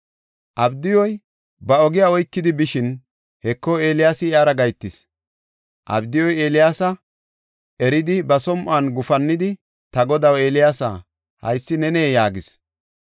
Abdiyuy ba ogiya oykidi bishin, Heko, Eeliyaasi iyara gahetis. Abdiyuy Eeliyaasa eridi ba som7uwan gufannidi, “Ta godaw Eeliyaasa, haysi nenee?” yaagis.